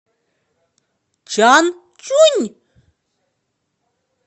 чанчунь